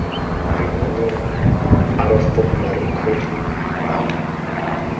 lenaneng out of formulary co